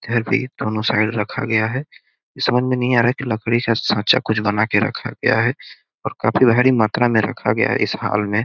घर पे ही दोनों साइड रखा गया है समझ में नहीं आ रहा है कि लकड़ी सा साँचा कुछ बना रखा गया है और काफ़ी बड़ी मात्रा में रखा गया है इस हल में।